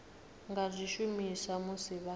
nga zwi shumisa musi vha